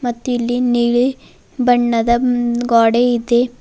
ಮತ್ತು ಇಲ್ಲಿ ನೀಲಿ ಬಣ್ಣದ ಗ್ವಾಡೇ ಇದೆ.